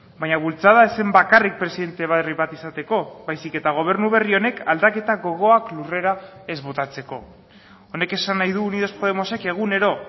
baina bultzada ez zen bakarrik presidente berri bat izateko baizik eta gobernu berri honek aldaketa gogoak lurrera ez botatzeko honek esan nahi du unidos podemosek egunero